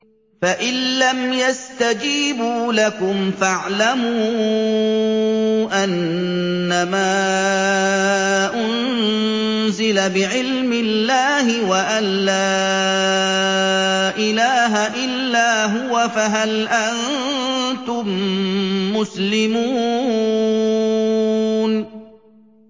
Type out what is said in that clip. فَإِلَّمْ يَسْتَجِيبُوا لَكُمْ فَاعْلَمُوا أَنَّمَا أُنزِلَ بِعِلْمِ اللَّهِ وَأَن لَّا إِلَٰهَ إِلَّا هُوَ ۖ فَهَلْ أَنتُم مُّسْلِمُونَ